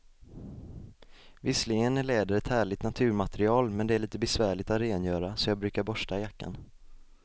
Visserligen är läder ett härligt naturmaterial, men det är lite besvärligt att rengöra, så jag brukar borsta jackan.